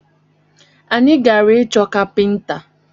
Anyi gara ịchọ kapinta